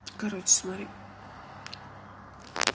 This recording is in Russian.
короче смотри